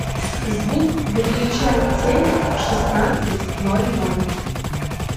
звук выключай телек в шестнадцать ноль ноль